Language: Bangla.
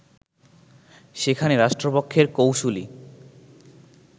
সেখানে রাষ্ট্রপক্ষের কৌঁসুলি